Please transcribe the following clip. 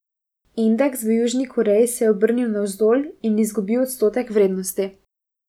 Indeks v Južni Koreji se je obrnil navzdol in izgubil odstotek vrednosti.